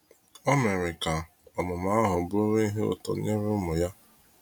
O mere ka ọmụmụ ahụ bụrụ ihe ụtọ nyere ụmụ ya.